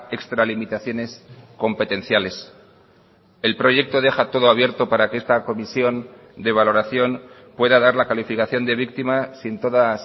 extralimitaciones competenciales el proyecto deja todo abierto para que esta comisión de valoración pueda dar la calificación de víctima sin todas